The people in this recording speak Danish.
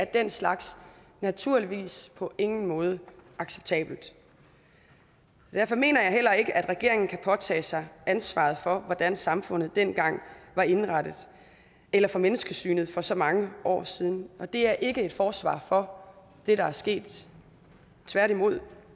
den slags naturligvis på ingen måde er acceptabelt derfor mener jeg heller ikke at regeringen kan påtage sig ansvaret for hvordan samfundet dengang var indrettet eller for menneskesynet for så mange år siden det er ikke et forsvar for det der er sket tværtimod